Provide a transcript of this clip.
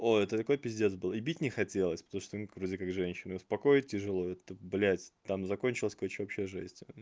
ой это такой пиздец был и бить не хотелось потому что ну как вроде как женщина и успокоить тяжело это блядь там закончилось короче вообще жесть